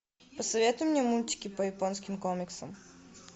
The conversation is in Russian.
посоветуй мне мультики по японским комиксам